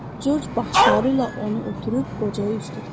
Corc baxışları ilə onu ötürüb qocaya üz tutdu.